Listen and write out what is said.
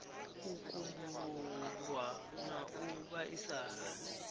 u kumbululwa na u vhaisala